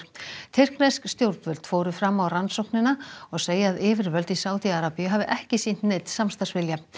tyrknesk stjórnvöld fóru fram á rannsóknina og segja að yfirvöld í Sádi Arabíu hafi ekki sýnt neinn samstarfsvilja